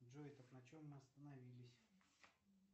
джой так на чем мы остановились